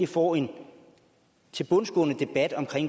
får en tilbundsgående debat om